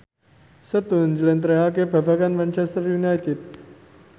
Setu njlentrehake babagan Manchester united